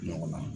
Ɲɔgɔn na